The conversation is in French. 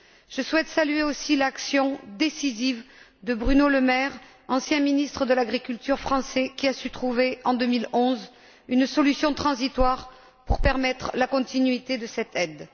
Je souhaite saluer aussi l'action décisive de Bruno Lemaire, ancien ministre français de l'agriculture, qui a su trouver, en 2011, une solution transitoire pour permettre la continuité de cette aide.